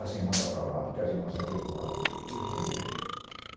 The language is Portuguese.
As irmãs estão para lá porque as irmãs entram de um lado e os irmãos do outro.